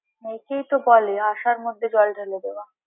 একেই তো বলে আশার মধ্যে জল ঢেলে দেওয়া।